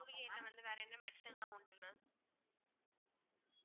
மூலிகையில வந்து வேற என்ன medicine லாம் உண்டு mam